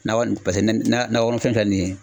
Nakɔ nin paseke ne na nakɔ kɔnɔfɛn filɛ nin ye